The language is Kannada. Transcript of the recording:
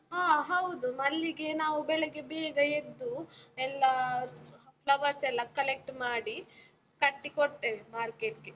ಹ ಹೌದು, ಮಲ್ಲಿಗೆ ನಾವು ಬೆಳಗ್ಗೆ ಬೇಗ ಎದ್ದು, ಎಲ್ಲ flowers ಎಲ್ಲ collect ಮಾಡಿ ಕಟ್ಟಿ ಕೊಡ್ತೇವೆ, market ಗೆ.